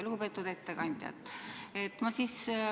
Lugupeetud ettekandja!